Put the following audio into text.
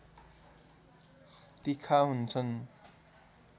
तिखा हुन्छन्